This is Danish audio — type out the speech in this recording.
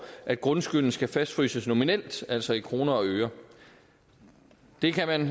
at grundskylden skal fastfryses nominelt altså i kroner og øre det kan man